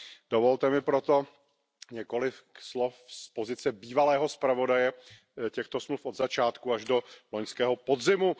Dovolte mi proto několik slov z pozice bývalého zpravodaje těchto smluv od začátku až do loňského podzimu.